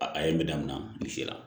A a ye me daminɛ nin sera